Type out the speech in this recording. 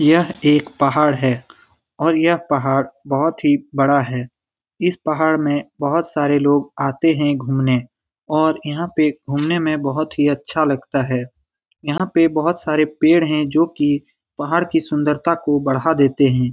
यह एक पहाड़ है। और यह पहाड़ बोहोत ही बड़ा है। इस पहाड़ में बोहोत सारे लोग आते है घुमने। और यहां पे घुमने में बोहोत ही अच्छा लगता है। यहां पे बोहोत सारे पेड़ है जो की पहाड़ की सुंदरता को बढ़ा देते है।